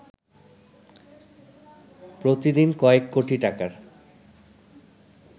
প্রতিদিন কয়েক কোটি টাকার